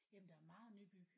Jamen der er meget nybyg